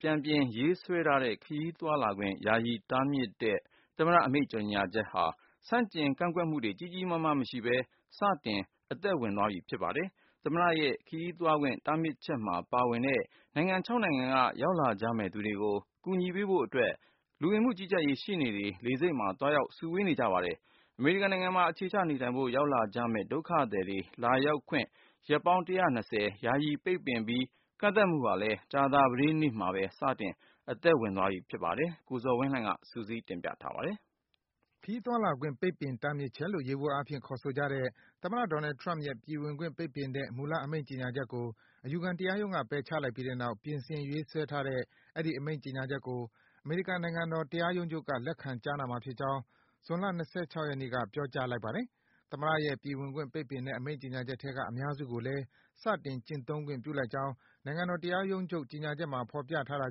ပြန်ပြင် ရေးဆွဲထားတဲ့ ခရီးသွားလာခွင့် ယာယီ တားမြစ်တဲ့ သမ္မတ အမိန့်ကြေညာချက်ဟာ ဆန့်ကျင် ကန့်ကွက်မှုတွေ ကြီးကြီးမားမား မရှိဘဲ စတင် အသက်ဝင်သွားပြီ ဖြစ်ပါတယ်။ သမ္မတရဲ့ ခရီးသွားခွင့် တားမြစ်ချက်မှာ ပါဝင်တဲ့ နိုင်ငံ နိုင်ငံက ရောက်လာကြမယ့်သူတွေကို ကူညီပေးဖို့အတွက် လူဝင်မှုကြီးကြပ်ရေး ရှေ့နေတွေ လေဆိပ်တွေမှာ သွားရောက် စုဝေး နေကြပါတယ်။ အမေရိကန်နိုင်ငံမှာ အခြေချနေထိုင်ဖို့ ရောက်လာကြမယ့် ဒုက္ခသည်တွေ လာရောက်ခွင့် ရက်ပေါင်း ၁၂၀ ယာယီ ပိတ်ပင်ပြီး ကန့်သတ်မှုဟာလည်း ကြာသပတေးနေ့မှာပဲ စတင် အသက်ဝင်သွားပြီ ဖြစ်ပါတယ်။ ဒီအကြောင်း အပြည့်အစုံကိုတော့ ကိုဇော်ဝင်းလှိုင်က စုစည်း တင်ပြပေးထားပါတယ်။ ခရီးသွားလာခွင့် ပိတ်ပင်တားမြစ်ချက်လို့ ယေဘုယျအားဖြင့် ခေါ်ဆိုကြတဲ့ သမ္မတ Donald Trump ရဲ့ ပြည်ဝင်ခွင့် ပိတ်ပင်တဲ့ မူလ အမိန့်ကြေညာချက်ကို အယူခံတရားရုံးက ပယ်ချလိုက်ပြီးတဲ့နောက် ပြင်ဆင် ရေးဆွဲထားတဲ့ အဲဒီ အမိန့်ကြေညာချက်ကို အမေရိကန် နိုင်ငံတော် တရားရုံးချုပ်က လက်ခံ ကြားနာမှာဖြစ်ကြောင်း ဇွန်လ ၂၆ ရက်နေ့က ပြောကြားလိုက်ပါတယ်။ သမ္မတရဲ့ ပြည်ဝင်ခွင့် ပိတ်ပင်တဲ့ အမိန့် ကြေညာချက်ထဲက အများစုကိုလည်း စတင် ကျင့်သုံးခွင့် ပြုလိုက်ကြောင်း နိုင်ငံတော် တရားရုံးချုပ်ရဲ့ အမိန့် ကြေညာချက်မှာ ဖော်ပြထားတာ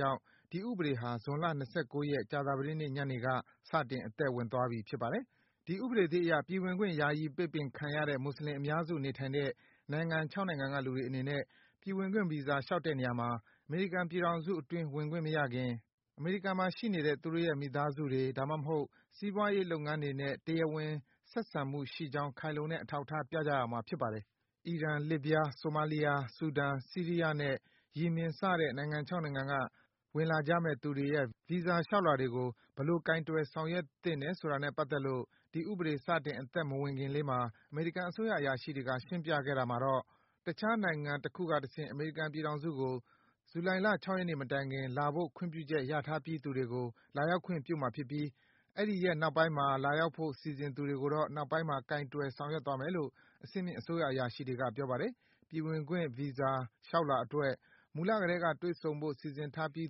ကြောင့် ဒီ ဥပဒေဟာ ဇွန်လ ၂၉ ရက်၊ ကြာသပတေးနေ့ ညနေက စတင် အသက်ဝင်သွားပြီ ဖြစ်ပါတယ်။ ဒီဥပဒေသစ်အရ ပြည်ဝင်ခွင့် ယာယီ ပိတ်ပင်ခံရတဲ့မွတ်ဆလင်အများစု နေထိုင်တဲ့ နိုင်ငံ နိုင်ငံကလူတွေအနေနဲ့ ပြည်ဝင်ခွင့် ဗီဇာလျှောက်တဲ့နေရာမှာ အမေရိကန် ပြည်ထောင်စုအတွင်း ဝင်ခွင့်မရခင် အမေရိကန်မှာ ရှိနေတဲ့ သူတို့ရဲ့ မိသားစုဝင်တွေ၊ ဒါမှမဟုတ် စီးပွားရေး လုပ်ငန်းတွေနဲ့ တရားဝင် ဆက်ဆံမှုရှိကြောင်း ခိုင်လုံတဲ့ အထောက်အထား ပြကြရမှာ ဖြစ်ပါတယ်။ အီရန်၊ လစ်ဗျား၊ ဆိုမားလီးယား၊ ဆူဒန်၊ ဆီးရီးယားနဲ့ ယီမင် စတဲ့ နိုင်ငံ နိုင်ငံက ဝင်လာကြမယ့် သူတွေရဲ့ ဗီဇာ လျှောက်လွှာတွေကို ဘယ်လို ကိုင်တွယ် ဆောင်ရွက်သင့်တယ်ဆိုတာနဲ့ ပတ်သက်လို့ ဒီဥပဒေ စတင် အသက်မဝင်ခင်လေးမှာ အမေရိကန် အစိုးရ အရာရှိတွေက ရှင်းပြခဲ့တာမှာ - တခြား နိုင်ငံတခုကတဆင့် အမေရိကန်ပြည်ထောင်စုကို ဇူလိုင် ၆ ရက်နေ့မတိုင် လာဖို့ ခွင့်ပြုချက် ရထားပြီးသူတွေကို လာရောက်ခွင့်ပြုမှာ ဖြစ်ပြီး အဲဒီရက် နောက်ပိုင်းမှ လာရောက်ဖို့ စီစဉ်သူတွေကိုတော့ နောက်ပိုင်းမှာ ကိုင်တွယ် ဆောင်ရွက်သွားမယ်လို့ အဆင့်မြင့် အစိုးရ အရာရှိတွေက ပြောပါတယ်။ ပြည်ဝင်ခွင့် ဗီဇာလျှောက်လွှာအတွက် မူလကတည်းက တွေ့ဆုံဖို့ စီစဉ်ထားပြီး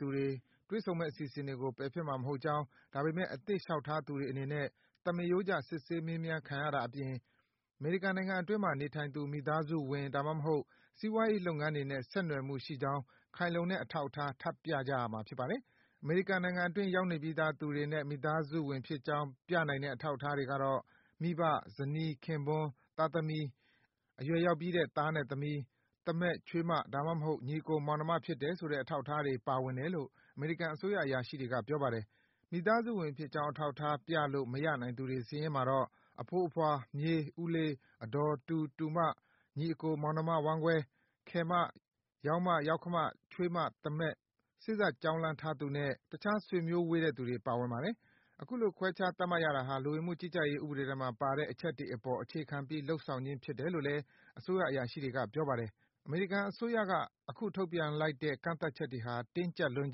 သူတွေ တွေ့ဆုံမယ့် အစီအစဉ်တွေကို ပယ်ဖျက်မှာ မဟုတ်ကြောင်း၊ ဒါပေမယ့် အသစ်လျှောက်ထားသူတွေအနေနဲ့ သမားရိုးကျ စစ်ဆေး မေးမြန်းခံရတာ အပြင် အမေရိကန်နိုင်ငံအတွင်းမှာ နေထိုင်သူ မိသားစုဝင်၊ ဒါမှမဟုတ် စီးပွားရေး လုပ်ငန်းတွေနဲ့ ဆက်နွယ်မှုရှိကြောင်း ခိုင်လုံတဲ့ အထောက်အထား ထပ်ပြကြရမှာ ဖြစ်ပါတယ်။ အမေရိကန်နိုင်ငံအတွင်း ရောက်နေပြီးသား သူတွေနဲ့ မိသားစုဝင်ဖြစ်ကြောင်း ပြနိုင်တဲ့ အထောက်အထားတွေကတော့ - မိဘ၊ ဇနီး ခင်ပွန်း၊ သားသမီး၊ အရွယ်ရောက်ပြီးတဲ့ သားနဲ့ သမီး၊ သားမက်၊ ချွေးမ၊ ဒါမှမဟုတ် ညီအကို မောင်နှဖြစ်တယ်ဆိုတဲ့ အထောက်အထားတွေ ပါဝင်တယ်လို့ အမေရိကန်အစိုးရ အရာရှိတွေက ပြောပါတယ်။ မိသားစုဝင်ဖြစ်ကြောင်း အထောက်အထား ပြလို့ မရနိုင်သူတွေ စာရင်းမှာတော့ အဖိုး အဖွား၊ မြေး၊ ဦးလေး၊ အဒေါ်၊ တူ၊ တူမ၊ ညီအကို မောင်နှမ ဝမ်းကွဲ၊ ခယ်မ၊ ယောက္မ၊ ယောက္ဖ၊ ချွေးမ၊ သားမက်၊ စေ့စပ်ကြောင်းလမ်းထားသူနဲ့ တခြား ဆွေမျိုးဝေးတဲ့သူတွေ ပါဝင်ပါတယ်။ အခုလို ခွဲခြား သတ်မှတ်ရတာဟာ လူဝင်မှုကြီးကြပ်ရေး ဥပဒေထဲမှာ ပါတဲ့အချက်တွေအပေါ် အခြေခံပြီး လုပ်ဆောင်ခြင်း ဖြစ်တယ်လို့လည်း အစိုးရ အရာရှိတွေက ပြောပါတယ်။ အမေရိကန်အစိုးရက အခုထုတ်ပြန်လိုက်တဲ့ ကန့်သတ်ချက်တွေဟာ တင်းကြပ်လွန်း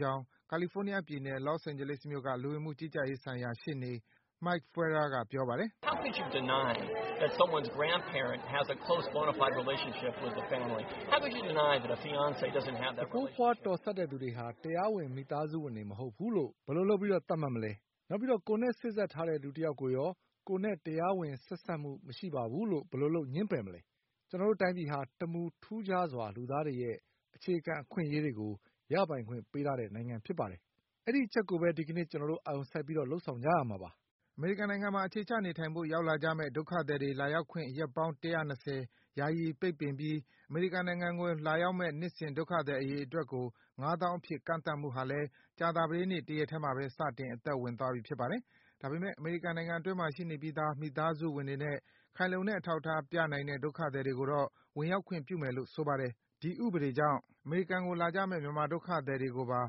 ကြောင်း ကာလီဖိုးနီးယားပြည်နယ်၊ Los Angeles မြို့က လူဝင်မှုကြီးကြပ်ရေးဆိုင်ရာ ရှေ့နေ Mike Feuer က ပြောပါတယ်။ “အဖိုးအဖွား တော်တဲ့သူတွေဟာ တရားဝင် မိသားစုဝင် မဟုတ်ဘူးလို့ ဘယ်လိုလုပ် သတ်မှတ်မလဲ။ နောက်ပြီးတော့ ကိုယ်နဲ့ စေ့စပ်ထားတဲ့ လူတယောက်ကိုရော ကိုယ်နဲ့ တရားဝင် ဆက်စပ်မှုမရှိပါဘူးလို့ ဘယ်လိုလုပ် ငြင်းပယ်မလဲ။ ကျနော်တို့ တိုင်းပြည်ဟာ တမူထူးခြားစွာ လူသားတွေရဲ့ အခြေခံအခွင့်အရေးတွေကို ရပိုင်ခွင့်ပေးထားတဲ့ နိုင်ငံဖြစ်ပါတယ်။ အဲဒီအချက်ကိုပဲ ဒီကနေ့ ကျနော်တို့ အာရုံစိုက် လုပ်ဆောင်ကြရမှာပါ။” အမေရိကန်နိုင်ငံမှာ အခြေချနေထိုင်ဖို့ ရောက်လာကြမယ့် ဒုက္ခသည်တွေ လာရောက်ခွင့် ရက်ပေါင်း ၁၂၀ ယာယီ ပိတ်ပင်ပြီး အမေရိကန်နိုင်ငံကို လာရောက်မယ့် နှစ်စဉ် ဒုက္ခသည်အရေအတွက်ကို ငါးသောင်းအဖြစ် ကန့်သတ်မှုဟာလည်း ကြာသပတေးနေ့ တရက်ထဲမှာပဲ စတင် အသက်ဝင်သွားပြီ ဖြစ်ပါတယ်။ ဒါပေမယ့် အမေရိကန်နိုင်ငံ အတွင်းမှာ ရှိနေပြီးသား မိသားစုဝင်တွေနဲ့ ခိုင်လုံတဲ့ အထောက်အထား ပြနိုင်တဲ့ ဒုက္ခသည်တွေကိုတော့ ဝင်ရောက်ခွင့်ပြုမယ်လို့ ဆိုပါတယ်။ ဒီဥပဒေကြောင့် အမေရိကန်ကိုလာကြမယ့် မြန်မာဒုက္ခသည်တွေကိုပါ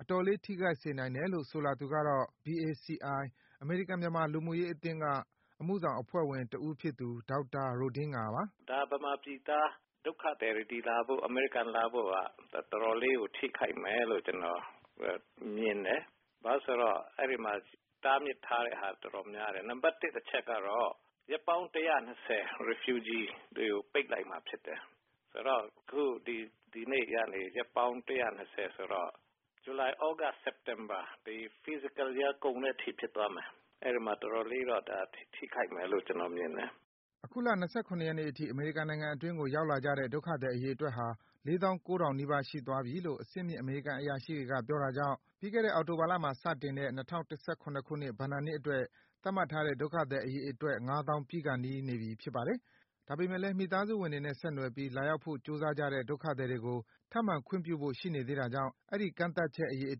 အတော်လေး ထိခိုက်စေနိုင်တယ်လို့ ဆိုလာသူကတော့ BACI - အမေရိကန်-မြန်မာ လူမှုရေးအသင်းက အမှုဆောင်အဖွဲ့ဝင်တဦးဖြစ်သူ ဒေါက်တာ Ro Dinga ပါ။ " မြန်မာပြည်သားဒုက္ခသည်တွေ အမေရိကန်လာဖို့ တော်တော်လေးကို ထိခိုက်မယ်လို့ ကျနော်မြင်တယ် ဘာဖြစ်လို့လဲဆိုတော့ တားမြစ်ထားတာ တော်တော်များတယ် နံပတ်တစ်အချက်ကတော့ ရက်ပေါင်း ၁၂၀ ဒုက္ခသည်တွေကို ပိတ်လိုက်မှာဖြစ်တယ်။ ဆိုတော့ ဒီနေ့ကနေ ရက်ပေါင်း ၁၂၀ဆိုတော့ ဇူလိုင် သြဂုတ် စက်တင်ဘာ ဖြစ်တော့ တော်တော်လေးတော့ ထိခိုက်မယ်လို့တော့ ကျနော်မြင်တယ်။" အခုလ ၂၇ ရက်နေ့အထိ အမေရိကန်နိုင်ငံအတွင်းကို ရောက်လာကြတဲ့ ဒုက္ခသည် အရေအတွက်ဟာ ၄၉,၀၀၀ နီးပါး ရှိသွားပြီလို့ အဆင့်မြင့် အမေရိကန် အရာရှိတွေက ပြောတာကြောင့် ပြီးခဲ့တဲ့ အောက်တိုဘာလမှာ စတင်တဲ့၂၀၁၇ ခုနှစ် ဘဏ္ဍာနှစ်အတွက် သတ်မှတ်ထားတဲ့ ဒုက္ခသည် အရေအတွက် ငါးသောင်း ပြည့်ခါနီးနေပြီ ဖြစ်ပါတယ်။ ဒါပေမယ့်လည်း မိသားစုဝင်တွေနဲ့ ဆက်နွယ်ပြီး လာရောက်ဖို့ ကြိုးစားကြတဲ့ ဒုက္ခသည်တွေကို ထပ်မံ ခွင့်ပြုဖို့ ရှိနေသေးတာကြောင့် အဲဒီ ကန့်သတ်ချက် အရေအ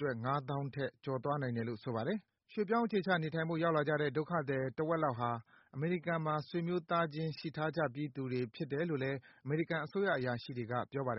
တွက် ငါးသောင်းထက် ကျော်သွားနိုင်တယ်လို့ ဆိုပါတယ်။ ရွေ့ပြောင်း အခြေချ နေထိုင်ဖို့ ရောက်လာကြတဲ့ ဒုက္ခသည် တဝက်လောက်ဟာ အမေရိကန်မှာ ဆွေမျိုးသားချင်း ရှိထားကြပြီးသူတွေ ဖြစ်တယ်လို့လည်း အမေရိကန် အစိုးရ အရာရှိတွေက ပြောပါတယ်